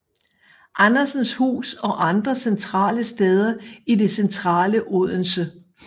Andersens Hus og andre centrale steder i det centrale Odense